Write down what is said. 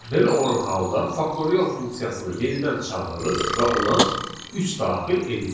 Belə olan halda faktorial funksiyasını yenidən çağırırıq və ona üç daxil edirik.